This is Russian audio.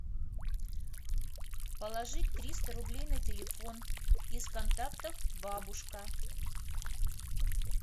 положить триста рублей на телефон из контактов бабушка